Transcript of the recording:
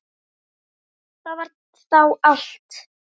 Það var þá allt.